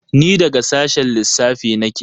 Ni daga sashen lissafi nake.